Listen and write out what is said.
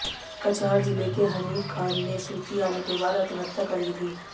कचहार ज़िले के हनीफ़ ख़ान ने सूची आने के बाद आत्महत्या कर ली थी